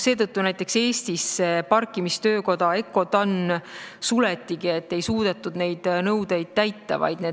Seetõttu näiteks Eestis parkimistöökoda Eurotann suletigi, et ei suudetud neid nõudeid täita.